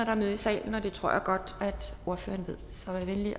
er møde i salen og det tror jeg godt at ordføreren ved så vær venlig at